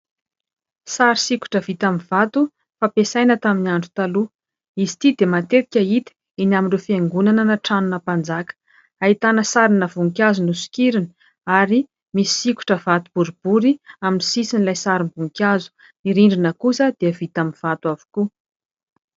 Sary sikotra vita amin'ny vato fampiasana tamin'ny andro taloha: izy ity dia matetika hita eny amin'ireo fiangonana na trano-na mpanjaka, ahitana sarina voninkazo nosokirina ary misy sikotra vato boribory amin'ny sisin'ilay sarim-boninkazo, ny rindrina kosa dia vita amin'ny vato avokoa.